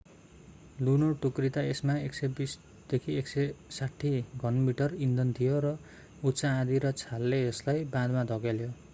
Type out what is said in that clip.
लुनो टुक्रिदा यसमा 120-160 घनमिटर इन्धन थियो र उच्च आँधी र छालले यसलाई बाँधमा धकेल्यो